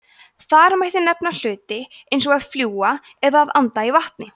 þar mætti nefna hluti eins og að fljúga eða að anda í vatni